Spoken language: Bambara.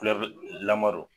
.